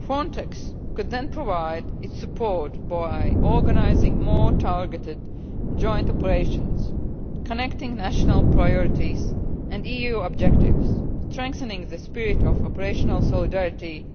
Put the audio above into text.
Frontex could then provide its support by organising more targeted joint operations, connecting national priorities and EU objectives, strengthening the spirit of operational solidarity,